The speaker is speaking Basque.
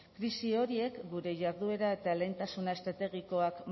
krisi horiek gure jarduera eta lehentasuna estrategikoak